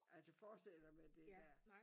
Altså forestil dig med det ja